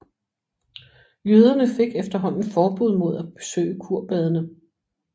Jøderne fik efterhånden forbud mod at besøge kurbadene